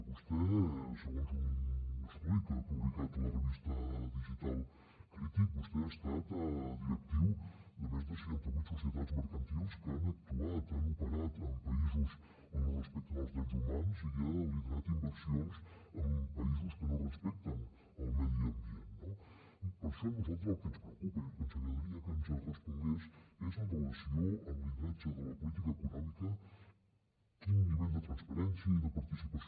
vostè segons un estudi que ha publicat la revista digital crític vostè ha estat directiu de més de seixanta vuit societats mercantils que han actuat han operat en països on no es respecten els drets humans i ha liderat inversions en països que no respecten el medi ambient no per això a nosaltres el que ens preocupa i el que ens agradaria que ens respongués és amb relació al lideratge de la política econòmica quin nivell de transparència i de participació